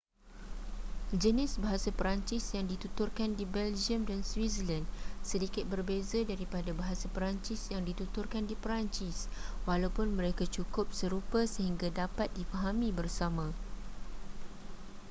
jenis bahasa perancis yang dituturkan di belgium dan switzerland sedikit berbeza daripada bahasa perancis yang dituturkan di perancis walaupun mereka cukup serupa sehingga dapat difahami bersama